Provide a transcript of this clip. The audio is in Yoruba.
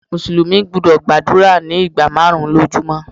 Mùsùlùmí gbúdọ̀ gbàdúrà ní ìgbà márùn-ún lójú mọ́.